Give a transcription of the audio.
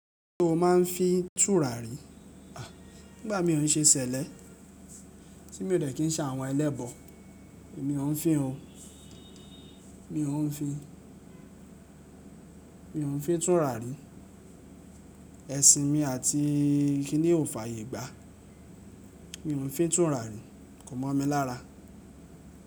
Kíni tí o máa ń fi túrà rí? À, nígbà mí ò ṣe ṣẹlẹ tí mi ò dẹ́ kín sá àwọn ẹlẹ́bọ̀, èmi ò fin o. Mi òún fin, mi òún fin túrà rí. Ẹ̀sìn mi àti kíni ò fààyè gbá. Mi òún fin túrà rí, kò mọ̀ mi lára.